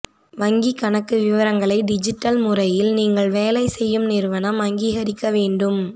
வங்கி கணக்கு விவரங்களை டிஜிட்டல் முறையில் நீங்கள் வேலை செய்யும் நிறுவனம் அங்கீகரிக்க வேண்டும்